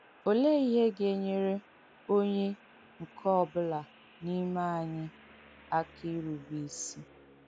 Ọléè ihe ga-ènyèrē onye nke ọ bụ̀là n’ìmẹ̀ ànyị àkà ìrùbé ìsị?